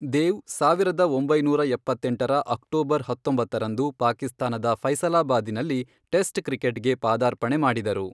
ದೇವ್ ಸಾವಿರದ ಒಂಬೈನೂರ ಎಪ್ಪತ್ತೆಂಟರ ಅಕ್ಟೋಬರ್ ಹತ್ತೊಂಬತ್ತರಂದು ಪಾಕಿಸ್ತಾನದ ಫೈಸಲಾಬಾದಿನಲ್ಲಿ ಟೆಸ್ಟ್ ಕ್ರಿಕೆಟ್ಗೆ ಪಾದಾರ್ಪಣೆ ಮಾಡಿದರು.